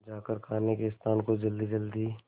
जाकर खाने के स्थान को जल्दीजल्दी